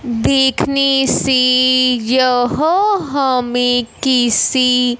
देखने से यह हमें किसी--